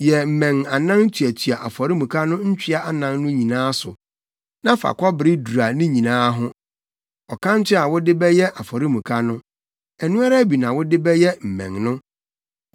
Yɛ mmɛn anan tuatua afɔremuka no ntwea anan no nyinaa so, na fa kɔbere dura ne nyinaa ho. Ɔkanto a wode bɛyɛ afɔremuka no, ɛno ara bi na wode bɛyɛ mmɛn no.